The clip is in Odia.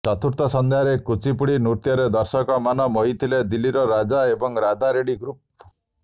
ଚତୁର୍ଥ ସଂଧ୍ୟାରେ କୁଚିପୁଡ଼ି ନୃତ୍ୟରେ ଦର୍ଶକଙ୍କ ମନ ମୋହିଥିଲେ ଦିଲ୍ଲୀର ରାଜା ଏବଂ ରାଧା ରେଡି ଗ୍ରୁପ୍